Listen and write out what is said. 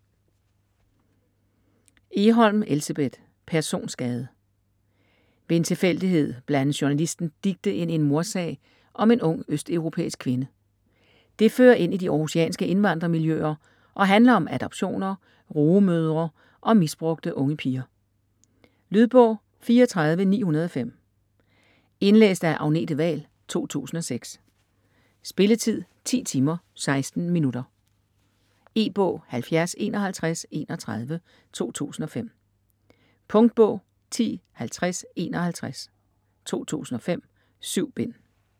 Egholm, Elsebeth: Personskade Ved en tilfældighed blandes journalisten Dicte ind i en mordsag om en ung østeuropæisk kvinde. Det fører ind i de århusianske indvandrermiljøer og handler om adoptioner, rugemødre og misbrugte unge piger. Lydbog 34905 Indlæst af Agnete Wahl, 2006. Spilletid: 10 timer, 16 minutter. E-bog 705131 2005. Punktbog 105051 2005. 7 bind.